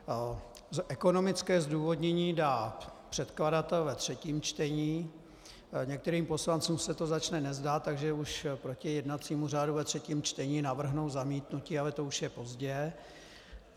Ekonomické zdůvodnění dá předkladatel ve třetím čtení, některým poslancům se to začne nezdát, takže už proti jednacímu řádu ve třetím čtení navrhnou zamítnutí, ale to už je pozdě.